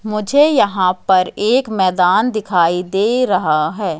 मुझे यहां पर एक मैदान दिखाई दे रहा है।